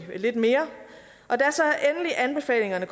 vi lidt mere og da anbefalingerne